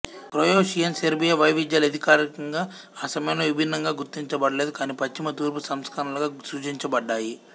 Croatian Serbia వైవిధ్యాలు అధికారికంగా ఆ సమయంలో విభిన్నంగా గుర్తించబడలేదు కానీ పశ్చిమ తూర్పు సంస్కరణలుగా సూచించబడ్డాయి